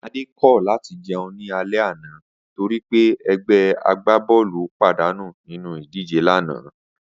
Adé kò̩ láti je̩un ní alé̩ àná torí pé e̩gbé̩ agbábó̩ò̩lù pàdánù nínú ìdíje lánàá